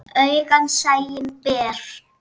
Augað sæinn ber.